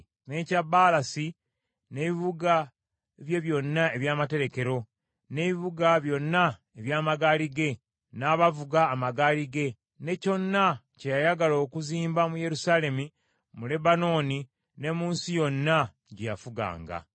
n’ekya Baalasi n’ebibuga bye byonna eby’amaterekero, n’ebibuga byonna eby’amagaali ge, n’abavuga amagaali ge, ne kyonna kye yayagala okuzimba mu Yerusaalemi, mu Lebanooni ne mu nsi yonna gye yafuganga.